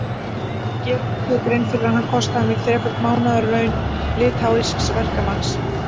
Gerirðu þér grein fyrir að hann kostaði mig þreföld mánaðarlaun litháísks verkamanns?